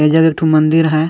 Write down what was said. एजक एकठो मंदिर अहय ।